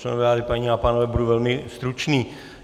Členové vlády, paní a pánové, budu velmi stručný.